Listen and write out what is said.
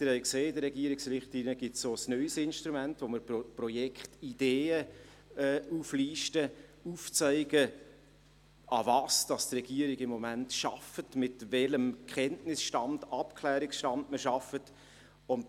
In den Regierungsrichtlinien gibt es auch ein neues Instrument, mit dem wir Projektideen auflisten und aufzeigen, woran die Regierung im Moment arbeitet und mit welchem Kenntnis- und Abklärungsstand man arbeitet.